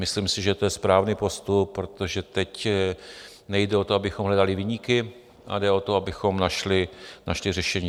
Myslím si, že to je správný postup, protože teď nejde o to, abychom hledali viníky, ale jde o to, abychom našli řešení.